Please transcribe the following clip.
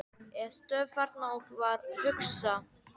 Ég stóð þarna og var að hugsa.